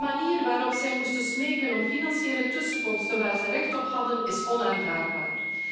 De manier waarop zij moesten smeken om financiële tussenkomsten waar ze recht op hadden, is onaanvaardbaar.